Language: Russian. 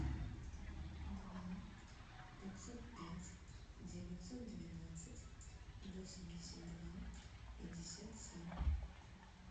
два пятьсот пять девятьсот двенадцать восемьдесят два пятьдесят семь